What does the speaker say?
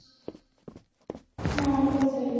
ହଁ ପଚାରିବି